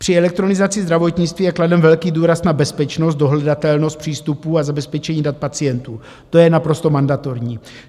Při elektronizaci zdravotnictví je kladen velký důraz na bezpečnost, dohledatelnost přístupů a zabezpečení dat pacientů, to je naprosto mandatorní.